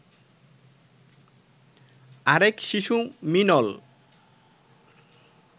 আরেক শিশু মিনল